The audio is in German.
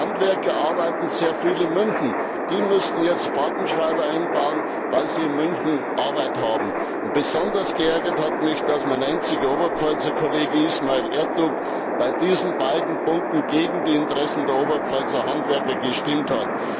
Meine Handwerker arbeiten sehr viel in München, die müssen jetzt Fahrtenschreiber einbauen, weil sie in München Arbeit haben. Besonders geärgert hat mich, dass mein einziger Oberpfälzer Kollege Ismail Ertug bei diesen beiden Punkten gegen die Interessen der Oberpfälzer Handwerker gestimmt hat.